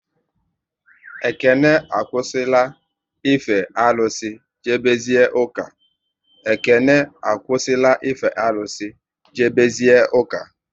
Ekene akwụsị la ife arụsị, jebe zie ụka